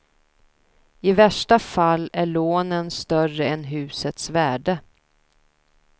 I värsta fall är lånen större än husets värde.